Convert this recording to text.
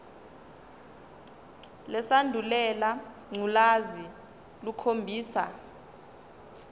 lesandulela ngculazi lukhombisa